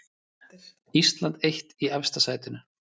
Ísland eitt í efsta sætinu